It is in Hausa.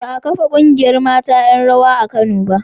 Ba a kafa ƙungiyar mata 'yan rawa a Kano ba.